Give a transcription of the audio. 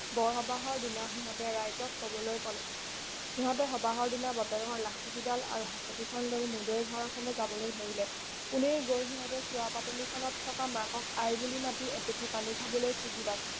বৰ সবাহৰ দিনা সিহঁতে ৰাইজক কবলৈ কলে সিহঁতে সবাহৰ দিনা বাপেকৰ লাখুটি ডাল আৰু হাঁচতি খনলৈ মূদৈৰ ঘৰৰ ফালে যাবলৈ ধৰিলে পোনেই গৈ সিহঁতে চোৱা পাতনি খনত থকা মাকক আই বুলি মতি এটোপি পানী খাবলৈ খুজিলত